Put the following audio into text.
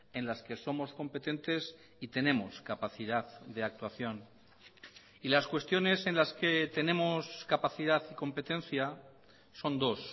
en las que somos competentes y tenemos capacidad de actuación y las cuestiones en las que tenemos capacidad y competencia son dos